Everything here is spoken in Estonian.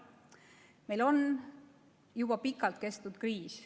Meil on juba pikalt kestnud kriis.